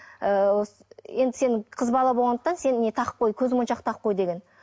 ыыы енді сен қыз бала болғандықтан сен не тағып қой көзмоншақ тағып қой деген